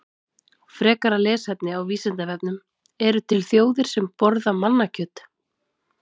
Frekara lesefni á Vísindavefnum: Eru til þjóðir sem borða mannakjöt?